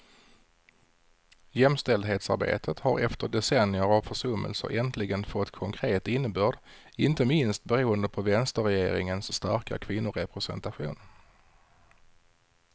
Jämställdhetsarbetet har efter decennier av försummelser äntligen fått konkret innebörd, inte minst beroende på vänsterregeringens starka kvinnorepresentation.